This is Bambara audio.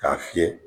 K'a fiyɛ